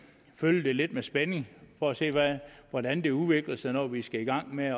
følge det lidt med spænding for at se hvordan det udvikler sig når vi skal i gang med